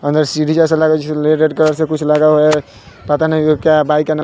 अंदर सीढ़ी जैसा लग रहा है। उसे रेड कलर से कुछ लगा हुआ है। पता नहीं वो क्या है बाईक --